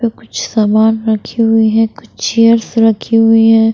कुछ सामान रखे हुए हैं कुछ चेयर्स रखी हुई हैं।